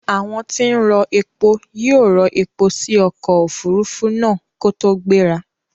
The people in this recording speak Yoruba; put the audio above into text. Àwon tí n rọ epo yí ò rọ epo si okò òfurufú náà kótó gbéra